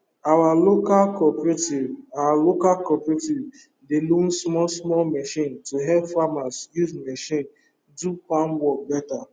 our local cooperative our local cooperative dey loan small small machine to help farmer use machine do farm work better